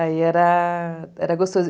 Aí era, era gostoso.